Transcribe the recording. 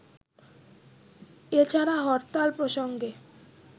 এছাড়া হরতাল প্রসঙ্গে